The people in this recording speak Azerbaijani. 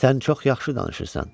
Sən çox yaxşı danışırsan.